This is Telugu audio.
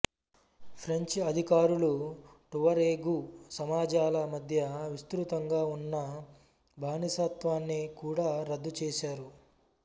ఫ్రెంచి అధికారులు టువరెగు సమాజాల మధ్య విస్తృతంగా ఉన్న బానిసత్వాన్ని కూడా రద్దు చేశారు